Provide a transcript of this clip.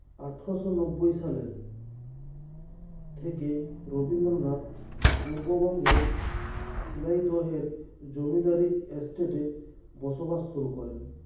আঠারশো নব্বই সালে থেকে রবীন্দ্রনাথ পূর্ব বঙ্গের শিলাইদহের জমিদারি estate এ বসবাস শুরু করেন